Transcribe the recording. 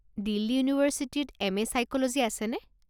দিল্লী ইউনিভাৰ্ছিটিত M A psychology আছেনে?